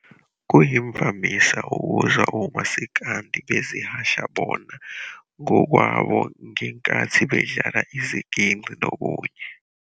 Kuyimvamisa ukuzwa omasikandi bezihasha bona ngokwabo ngenkathi bedlala iziginci nokunye.